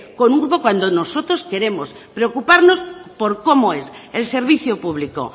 con un grupo cuando nosotros queremos preocuparnos por cómo es el servicio público